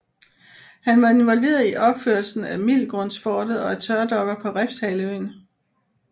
Han var involveret i opførelsen af Middelgrundsfortet og af tørdokker på Refshaleøen